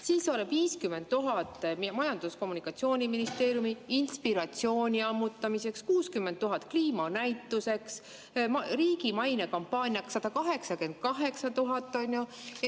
Siis on 50 000 Majandus‑ ja Kommunikatsiooniministeeriumile inspiratsiooni ammutamiseks, 60 000 kliimanäituseks, riigi mainekampaaniaks 188 000.